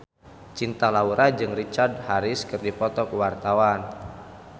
Cinta Laura jeung Richard Harris keur dipoto ku wartawan